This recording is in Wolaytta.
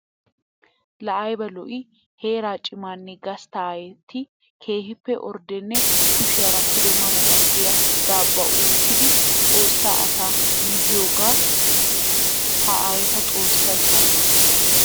Laa aybba lo'i! Heera cimanne gastta aayeti keehippe orddenne kushiyara pude ma ma giya daabuwa uukiddi Xoossa asaa mizziyooge ha aayetta Xoossaykka anjjo!